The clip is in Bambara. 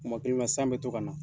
Tuma kelenw na san bɛ to ka na .